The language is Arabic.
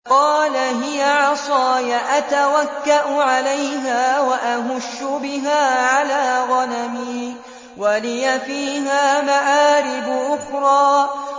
قَالَ هِيَ عَصَايَ أَتَوَكَّأُ عَلَيْهَا وَأَهُشُّ بِهَا عَلَىٰ غَنَمِي وَلِيَ فِيهَا مَآرِبُ أُخْرَىٰ